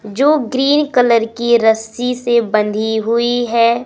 जो green colour की रस्सी से बंधी हुई है।